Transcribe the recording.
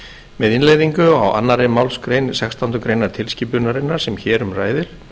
með innleiðingu á annarri málsgrein sextándu grein tilskipunarinnar sem hér um ræðir